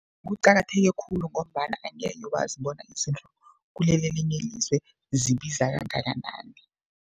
Kuqakatheke khulu, ngombana angekhe wazi bona izinto kuleli elinye ilizwe zibiza kangakanani.